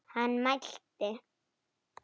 Hann mælti.